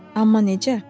Amma necə?